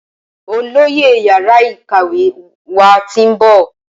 Olóyè yàrá ìkàwé wá tin ń bọ̀